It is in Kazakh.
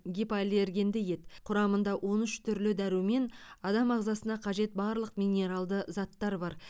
гипоаллергенді ет құрамында он үш түрлі дәрумен адам ағзасына қажет барлық минералды заттар бар